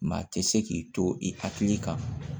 Maa tɛ se k'i to i hakili kan